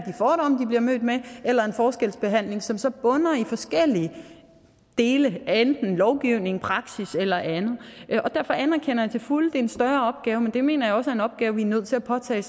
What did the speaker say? bliver mødt med eller en forskelsbehandling som så bunder i forskellige dele af enten lovgivning praksis eller andet og derfor anerkender jeg til fulde at er en større opgave men jeg mener er en opgave vi er nødt til at påtage